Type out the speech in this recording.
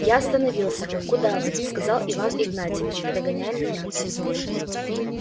я остановился куда вы сказал иван игнатьич догоняя меня